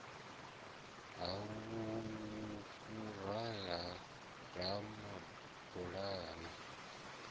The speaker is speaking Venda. ha vhuhali ha ramabulana a